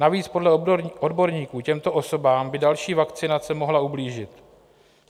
Navíc podle odborníků těmto osobám by další vakcinace mohla ublížit.